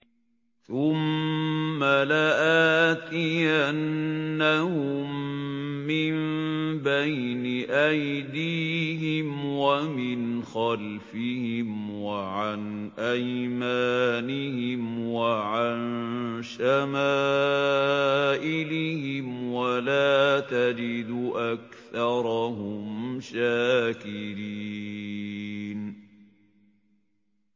ثُمَّ لَآتِيَنَّهُم مِّن بَيْنِ أَيْدِيهِمْ وَمِنْ خَلْفِهِمْ وَعَنْ أَيْمَانِهِمْ وَعَن شَمَائِلِهِمْ ۖ وَلَا تَجِدُ أَكْثَرَهُمْ شَاكِرِينَ